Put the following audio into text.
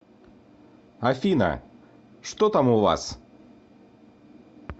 афина что там у вас